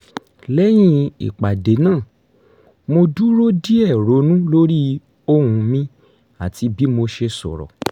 lẹ́yìn ìpàdé náà mo dúró díẹ̀ ronú lórí ohùn mi àti bí mo ṣe sọ̀rọ̀